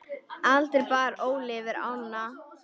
Aldrei bar Óli yfir ána.